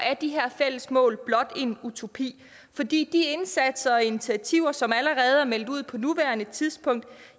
er de her fælles mål blot en utopi for de indsatser og initiativer som allerede er meldt ud på nuværende tidspunkt